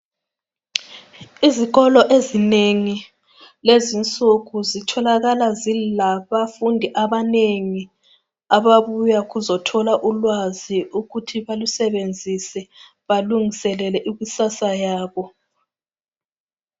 Izikolo ezinengi lezinsuku zitholakala zilabafundi abanengi ababuya ukuzothola ulwazi ukuthi balusebenzise balungiselele ikusasa yabo